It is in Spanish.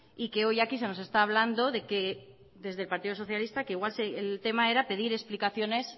y que hoy aquí se nos está hablando de que desde el partido socialista que igual el tema era pedir explicaciones